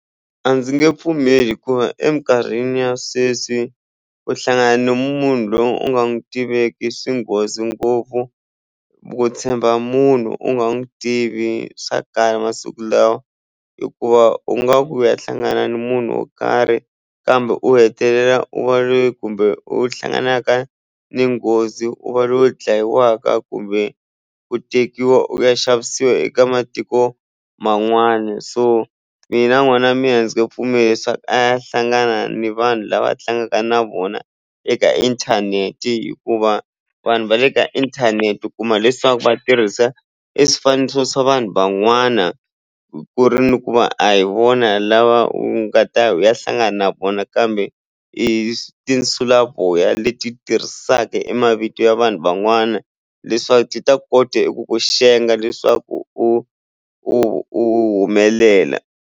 A ndzi nge pfumeli hikuva eminkarhini ya sweswi u hlangana na munhu loyi u nga n'wi tiveki swi nghozi ngopfu ku tshemba munhu u nga n'wi tivi swa kala masiku lawa hikuva u nga ku u ya hlangana na munhu wo karhi kambe u hetelela u va loyi kumbe u hlanganaka ni nghozi u va loyi u dlayiwaka kumbe ku tekiwa u ya xavisiwa eka matiko man'wana so mina n'wana wa mina a ndzi nge pfumeli leswaku a ya hlangana ni vanhu lava a tlangaka na vona eka inthanete hikuva vanhu va le ka inthanete u kuma leswaku va tirhisa eswifaniso swa vanhu van'wana ku ri ni ku va a hi vona lava u nga ta ya u ya hlangana na vona kambe i tinsulavoya leti tirhisaka i mavito ya vanhu van'wana leswaku ti ta kota ku ku xenga leswaku u u humelela.